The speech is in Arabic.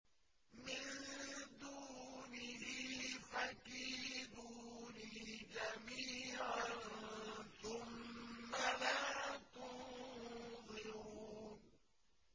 مِن دُونِهِ ۖ فَكِيدُونِي جَمِيعًا ثُمَّ لَا تُنظِرُونِ